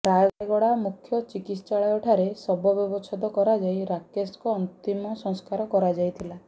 ରାୟଗଡା ମୁଖ୍ୟ ଚିକିତ୍ସାଳୟ ଠାରେ ଶବ ବ୍ୟବଛେଦ କରାଯାଇ ରାକେଶ ଙ୍କ ଅନ୍ତିମ ସଂସ୍କାର କରାଯାଇଥିଲା